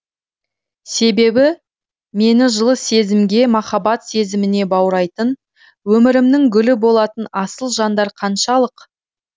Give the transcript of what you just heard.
себебі мені жылы сезімге махаббат сезіміне баурайтын өмірімнің гүлі болатын асыл жандар қаншалық